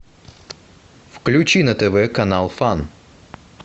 включи на тв канал фан